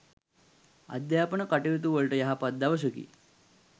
අධ්‍යාපන කටයුතුවලට යහපත් දවසකි.